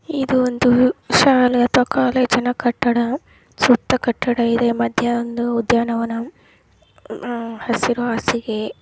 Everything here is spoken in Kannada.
ಇದು ಒಂದು ಶಾಲೇ ಅಥವಾ ಕಾಲೇಜಿನ ಕಟ್ಟಡ ಸುತ್ತ ಕಟ್ಟಡವಿದೆ ಮಧ್ಯ ಒಂದು ಉದ್ಯಾನವನ ಹಸಿರು ಹಾಸಿಗೆ --